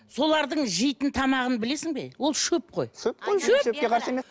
солардың жейтін тамағын білесің бе ол шөп қой шөп